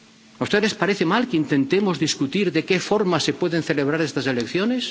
¿A ustedes les parece mal que intentemos discutir de qué forma se pueden celebrar estas elecciones?